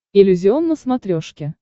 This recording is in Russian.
иллюзион на смотрешке